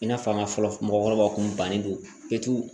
I n'a fɔ an ka fɔlɔ mɔgɔkɔrɔbaw kun bannen do